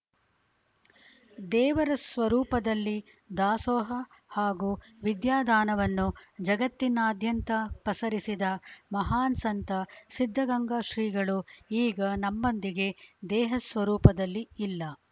ದೇವರ ಸ್ವರೂಪದಲ್ಲಿ ದಾಸೋಹ ಹಾಗೂ ವಿದ್ಯಾದಾನವನ್ನು ಜಗತ್ತಿನಾದ್ಯಂತ ಪಸರಿಸಿದ ಮಹಾನ್‌ ಸಂತ ಸಿದ್ಧಗಂಗಾ ಶ್ರೀಗಳು ಈಗ ನಮ್ಮೊಂದಿಗೆ ದೇಹಸ್ವರೂಪದಲ್ಲಿ ಇಲ್ಲ